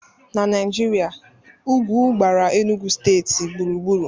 Na Naijiria, ugwu gbara Enugwu steeti gburugburu